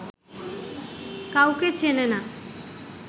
কাউকে চেনে না